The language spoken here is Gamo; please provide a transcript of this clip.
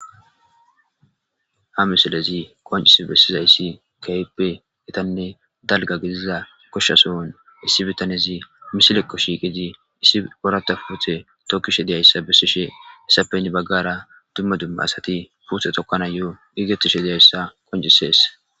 Ha misilezi qoncisi besizaysi keehippe gitanne dalga gidiza gosha sohon issi bitanezi misileko shiiqidi oratha puute tokishe dizausa besishe hesappe heni bagara duma duma asati puute tokanayo gigetishe dizaysa qoncises.